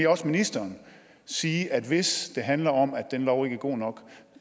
også ministeren sige at hvis det handler om at den lov ikke er god nok